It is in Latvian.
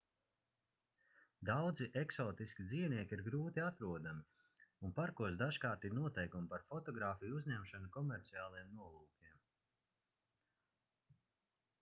daudzi eksotiski dzīvnieki ir grūti atrodami un parkos dažkārt ir noteikumi par fotogrāfiju uzņemšanu komerciāliem nolūkiem